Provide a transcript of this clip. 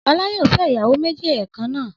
Ọlá yóò fẹ́ ìyàwó méjì ẹ̀ẹ̀kan náà.